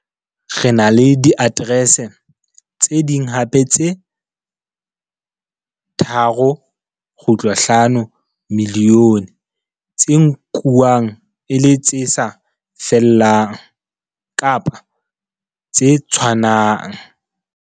Re na le diaterese tse ding hape tse 3.5 milione tse nkuwang e le tse sa fellang kapa tse 'tshwanang.